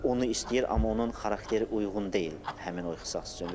Onu istəyir, amma onun xarakteri uyğun deyil həmin o ixtisas üçün.